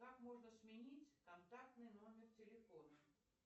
как можно сменить контактный номер телефона